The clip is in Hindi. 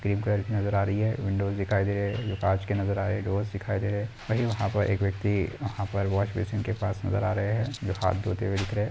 क्रीम कलर की नजर आ रही है विंडोज़ दिखाई दे रहे है जो कांच के नजर आ रहे है डोर्स दिखाई दे रहे है वही वहां पर एक व्यक्ति वहां पर वाश बेसिन के पास नजर आ रहे है जो हाथ धोते हुए दिख रहे है।